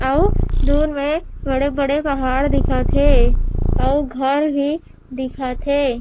अउ दूर मे बड़े-बड़े पहाड़ दिखत हे अउ घर ही दिखत हे।